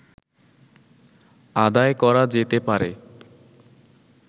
আদায় করা যেতে পারে